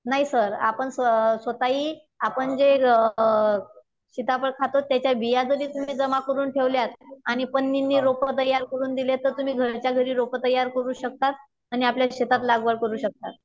नाही सर अ आपण स्वतःही आपण जे अ सिताफळ खातो अ त्याच्या बिया जरी तुम्ही जमा करून ठेवल्यात आणि रोप तयार करून दिलेत तर तुम्ही घरच्या घरी रोप तयार करू शकतात आणि आपल्या शेतात लागवड करू शकतात.